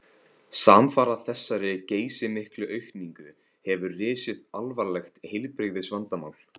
Samfara þessari geysimiklu aukningu hefur risið alvarlegt heilbrigðisvandamál.